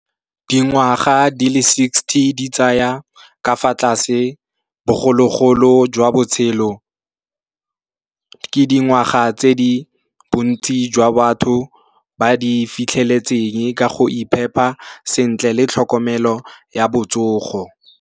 Dingwaga di le sixty di tsaya ka fa tlase bogologolo jwa botshelo. Ke dingwaga tse di bontsi jwa batho ba di fitlheletseng ka go iphepa sentle le tlhokomelo ya botsogo.